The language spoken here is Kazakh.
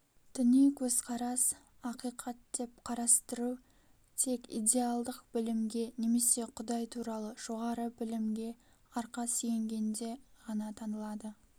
діни көзқарас ақиқат деп қарастыру тек идеалдық білімге немесе құдай туралы жоғары білімге арқа сүйенгенде ғана танылады